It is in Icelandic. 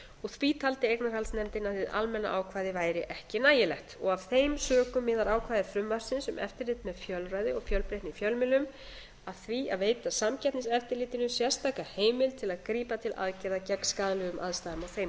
og því taldi eignarhaldsnefndin að hið almenna ákvæði væri ekki nægilegt af þeim sökum miðar ákvæði frumvarpsins um eftirlit með fjölræði og fjölbreytni í fjölmiðlun að því að veita samkeppniseftirlitinu sérstaka heimild til að grípa til aðgerða gegn skaðlegum aðstæðum á þeim